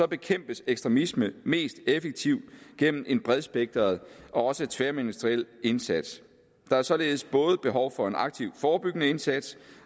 bekæmpes ekstremisme mest effektivt gennem en bredspektret og også tværministeriel indsats der er således både behov for en aktiv forebyggende indsats